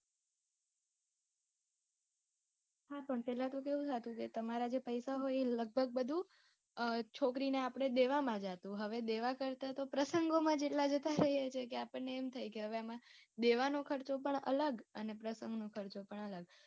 પેલાં તો કેવું થાતું કે તમારાં જે પૈસા હોય એ લગભગ બધું છોકરીને આપણે દેવામાં જાતું હવે દેવા કરતાં તો પ્રસંગોમાં જેટલાં જતા રે છે કે આપણને એમ થાય છે કે હવે દેવાનો ખર્ચો પણ અલગ અને પ્રસંગ નો ખર્ચો પણ અલગ